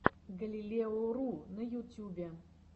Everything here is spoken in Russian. галилео ру на ютюбе